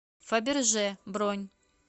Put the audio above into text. фаберже бронь